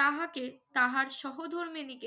তাহাকে তাহার সহধর্মিণীকে